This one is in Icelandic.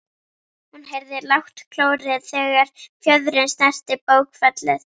Hún heyrði lágt klórið þegar fjöðrin snerti bókfellið.